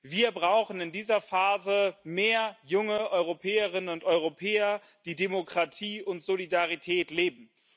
Wir brauchen in dieser Phase mehr junge Europäerinnen und Europäer, die Demokratie und Solidarität leben.